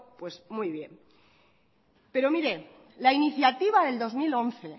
pues muy bien pero mire la iniciativa del dos mil once